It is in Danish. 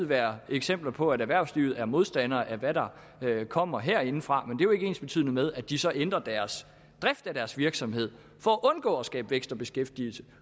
være eksempler på at erhvervslivet er modstander af hvad der kommer herindefra men det er jo ikke ensbetydende med at de så ændrer driften af deres virksomhed for at undgå at skabe vækst og beskæftigelse